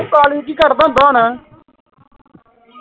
ਉਹ ਕਾਲੀ ਕਿ ਕਰਦਾ ਹੁੰਦਾ ਹੁਣ